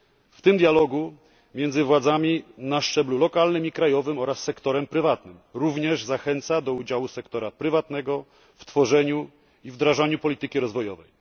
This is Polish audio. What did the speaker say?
W tym dialogu między władzami na szczeblu lokalnym i krajowym oraz z sektorem prywatnym również zachęca się do udziału sektora prywatnego w tworzeniu i wdrażaniu polityki rozwojowej.